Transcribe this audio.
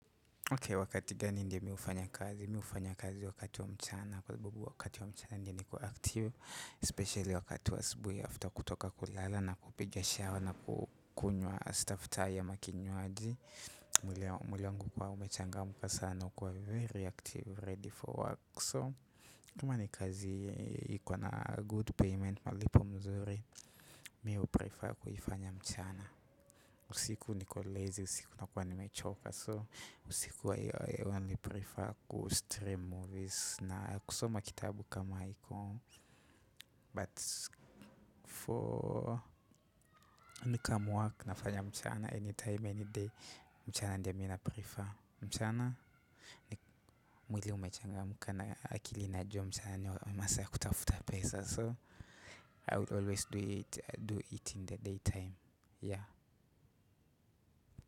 Ok wakati gani ndio mi hufanya kazi? Mi ufanya kazi wakati wa mchana. Kwa sababu wakati wa mchana ndio niko active Especially wakati wa asibui After kutoka kulala na kupiga shower na kukunywa staftahi ama kinywaji. Mwili wangu huwa umechangamuka sana. Uko very active ready for work So kama ni kazi iko na good payment. Malipo mzuri. Mi uprefer kuifanya mchana. Usiku niko lazy usiku nakuwa nimechoka so usiku i only prefer ku stream movies na kusoma kitabu kama iko but for income work nafanya mchana anytime any day mchana ndio mi na prefer mchana mwili umechangamka na akili inajua mchana ni masaa kutafuta pesa so i will always do it do it in the daytime yeah.